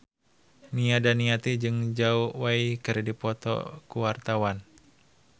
Nia Daniati jeung Zhao Wei keur dipoto ku wartawan